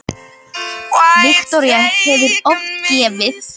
Viktoría: Hefurðu oft gefið?